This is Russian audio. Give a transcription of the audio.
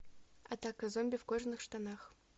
атака зомби в кожаных штанах